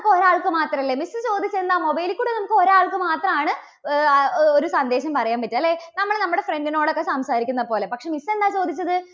ക്ക് ഒരാൾക്ക് മാത്രല്ലേ? miss ചോദിച്ചതെന്താ? mobile ൽ കൂടി നമുക്ക് ഒരാൾക്ക് മാത്രാണ് ആഹ് ഒരു സന്ദേശം പറയാൻ പറ്റുക അല്ലേ? നമ്മൾ നമ്മുടെ friend നോടൊക്കെ സംസാരിക്കുന്നപോലെ. പക്ഷേ miss എന്താ ചോദിച്ചത്?